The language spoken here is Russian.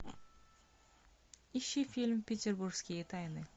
ищи фильм петербургские тайны